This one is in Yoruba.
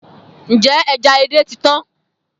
Njẹ ẹja édè ti tan?